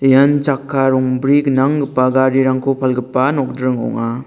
ian chakka rongbri gnanggipa garirangko palgipa nokdring ong·a.